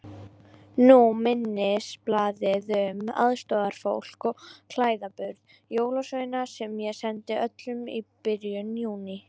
Nú minnisblaðið um aðstoðarfólk og klæðaburð jólasveina sem ég sendi öllum í byrjun Júní.